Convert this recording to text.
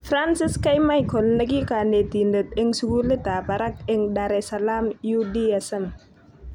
Francis k.Michael nekikonetidet eng sukulit tab barak eng Dar es Salam UDSM.